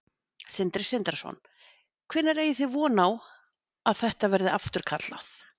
Sindri Sindrason: Hvenær eigið þið þá von á að þetta verði afturkallað?